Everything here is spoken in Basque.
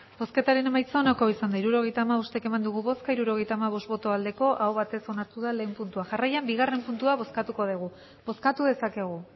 hirurogeita hamabost eman dugu bozka hirurogeita hamabost bai aho batez onartu da lehenengo puntua jarraian bigarren puntua bozkatuko dugu bozkatu dezakegu